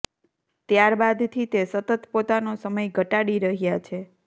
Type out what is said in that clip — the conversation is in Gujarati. ત્યાર બાદથી તે સતત પોતાનો સમય ઘટાડી રહ્યા છે